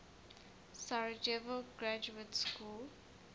sarajevo graduate school